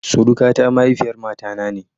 Surukata mahaifiyar mata na ne.